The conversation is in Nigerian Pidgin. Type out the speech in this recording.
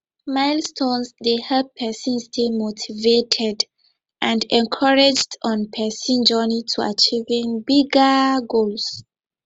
milestones dey help pesin stay motivated and encouraged on pesin journey to achieving bigger goals